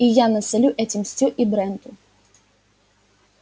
и я насолю этим стю и бренту